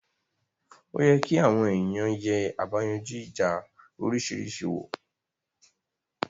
Oye kí àwọn ènìyàn yè àbáyanjú ìjà òrisìrísí wò